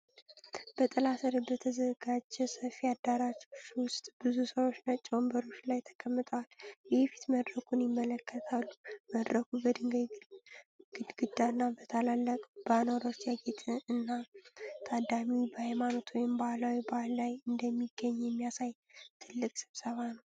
በጥላ ስር በተዘጋጀ ሰፊ አዳራሽ ውስጥ ብዙ ሰዎች ነጭ ወንበሮች ላይ ተቀምጠው የፊት መድረኩን ይመለከታሉ። መድረኩ በድንጋይ ግድግዳና በታላላቅ ባነሮች ያጌጠ እና፤ ታዳሚው በሃይማኖታዊ ወይም ባህላዊ በዓል ላይ እንደሚገኝ የሚያሳይ ትልቅ ስብሰባ ነው።